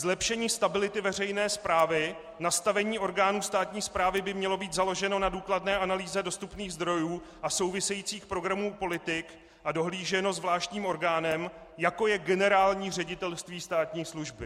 Zlepšení stability veřejné správy: nastavení orgánů státní správy by mělo být založeno na důkladné analýze dostupných zdrojů a souvisejících programů politik a dohlíženo zvláštním orgánem, jako je Generální ředitelství státní služby.